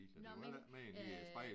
Nåh men øh